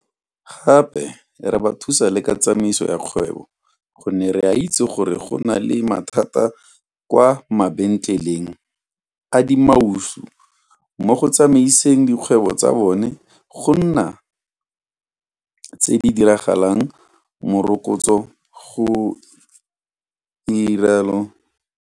Gape re ba thusa le ka tsamaiso ya kgwebo gonne re a itse gore go na le mathata kwa mabentleleng a dimaushu mo go tsamaiseng dikgwebo tsa bona go nna tse di dirang morokotso, ga rialo Ntshavheni.